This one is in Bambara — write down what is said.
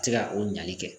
Ti se ka o ɲali kɛ